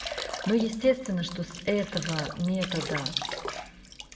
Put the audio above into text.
ну естественно что с этого метода